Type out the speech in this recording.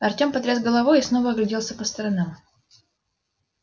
артём потряс головой и снова огляделся по сторонам